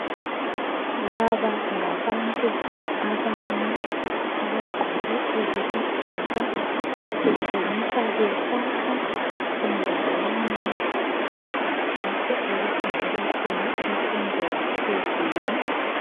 Laba ngabantu abane abagqoke eziluhlaza , kutshengisa besakha endaweni lapho okufundelwa khona imfundo yaphezulu